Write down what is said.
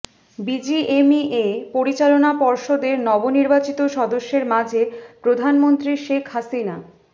BGMEA পরিচালনা পর্ষদের নবনির্বাচিত সদস্যেদর মাঝে প্রধানমন্ত্রী শেখ হাসিনা